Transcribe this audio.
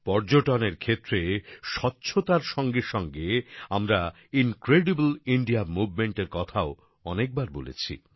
পর্যটনের ক্ষেত্রে স্বচ্ছতার সঙ্গে সঙ্গে আমরা ইনক্রেডিবল ইন্ডিয়া মুভমেন্টের কথাও অনেকবার বলেছি